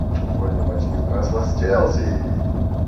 футбольный матч ньюкасла с челси